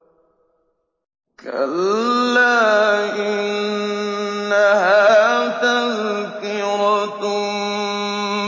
كَلَّا إِنَّهَا تَذْكِرَةٌ